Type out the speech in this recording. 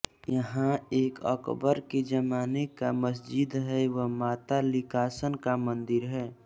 यहाँ एक अकबर के जमाने की मसजिद है व माता लिकाषन का मंदिर है